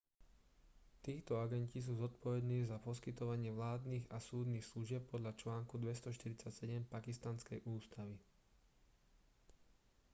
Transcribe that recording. títo agenti sú zodpovední za poskytovanie vládnych a súdnych služieb podľa článku 247 pakistanskej ústavy